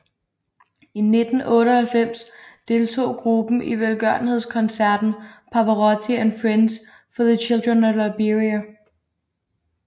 I 1998 deltog gruppen i velgørenhedskoncerten Pavarotti and Friends for the Children of Liberia